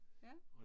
Ja